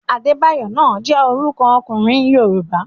Adébáyọ̀ náà jẹ́ orúkọ ọkùnrin Yorùbá.